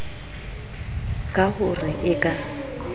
ka ho re e ka